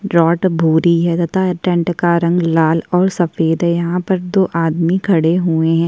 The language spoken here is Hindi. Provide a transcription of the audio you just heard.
रॉट भूरी है तथा टेंट का रंग लाल और सफेद यहाँ पर दो आदमी खड़े हुए है।